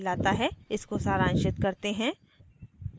इसको सारांशित करते हैं